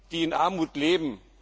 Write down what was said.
die in Armut leben.